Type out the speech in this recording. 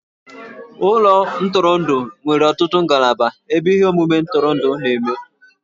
Ụlọ ntụrụndụ nwere ọtụtụ ngalaba ebe ihe omume ntụrụndụ na-eme.